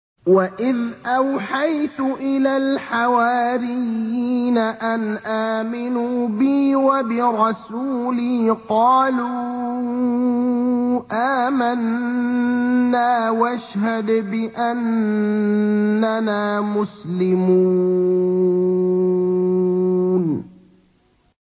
وَإِذْ أَوْحَيْتُ إِلَى الْحَوَارِيِّينَ أَنْ آمِنُوا بِي وَبِرَسُولِي قَالُوا آمَنَّا وَاشْهَدْ بِأَنَّنَا مُسْلِمُونَ